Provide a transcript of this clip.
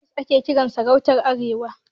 Emirs ake kiran sarakunan arewa.